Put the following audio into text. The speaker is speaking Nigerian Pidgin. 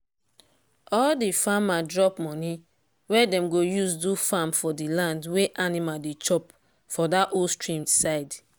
all the farmer drop money wey dem go use do fence for the land wey animal dey chop for that old stream side.